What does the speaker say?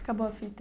Acabou a fita.